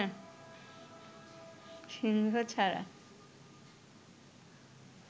সিংহ ছাড়া